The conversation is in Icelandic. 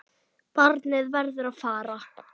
Barnið verður að fara.